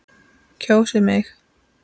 Kjósið mig!